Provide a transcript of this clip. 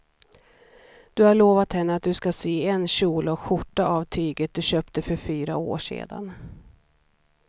Du har lovat henne att du ska sy en kjol och skjorta av tyget du köpte för fyra år sedan.